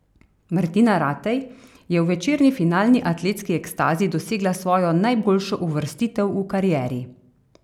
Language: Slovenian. Martina Ratej je v večerni finalni atletski ekstazi dosegla svojo najboljšo uvrstitev v karieri.